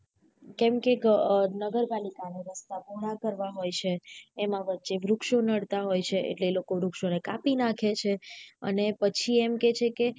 કેમ કે નગરપાલિકાને રસ્તા પોહળા કરવા હોય છે એમાં વચ્ચે વૃક્ષો નડતા હોય છે એટલે એ વૃક્ષો ને કાપી નાખે છે અને પછી એમ કે છે કે